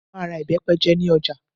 Mo máa ra ìbẹ́pẹ jẹ ní ọjà